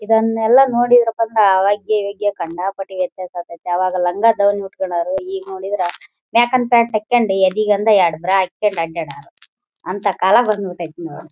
ಇದನ್ನೆಲ್ಲ ನೋಡಿ ಅವಾಗಿವಾಗ ಕಂಡಾಪಟ್ಟೆ ವ್ಯತ್ಯಾಸ ಆಗಯ್ತೆ ಅವಾಗ ಲಂಗದಾವಣಿ ಉಟ್ಟುಕೊಳ್ಳೋರು ಈಗ್‌ ನೋಡಿದ್ರೆ ಎದೆಗೊಂದು ಎರಡು ಬ್ರಾ ಹಾಕ್ಕೊಂಡು ಅಡ್ಡಾಡೋರು ಅಂತ ಕಾಲ ಬಂದ್‌ ಬಿಟ್ಟೈತೆ ನೋಡಿ.